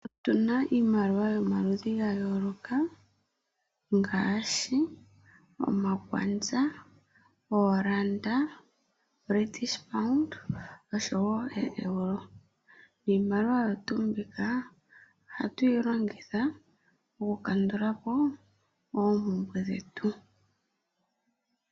Otu na iimaliwa yomaludhi ga yooloka ngaashi omakwanza, ooranda, British pound oshowo ooeuro. Iimaliwa oyo tuu mbika ohatu yi longitha oku kandula po oompumbwe dhetu.